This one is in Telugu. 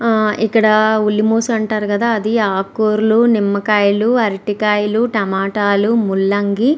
ఇక్కడ ఉల్లి మోస అంటారు కదా అది ఆకుకూరలు నిమ్మకాయలు అరటికాయలు టమాటాలు ముల్లంగి --